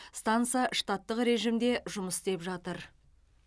станса штаттық режимде жұмыс істеп жатыр